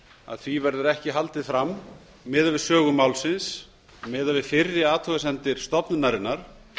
að því verður ekki haldið fram miðað við sögu málsins miðað við fyrri athugasemdir stofnunarinnar